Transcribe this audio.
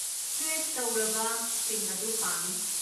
Stretch ꯇꯧꯔꯕꯁꯤꯡ ꯑꯗꯨ ꯄꯥꯝꯃꯤ꯫